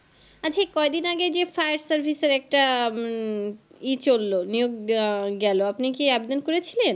আচ্ছা কয়েকদিন আগে যে Fire service এর একটা উম ই চললো নিয়োগ গেলো আপনি কি Apply করেছিলেন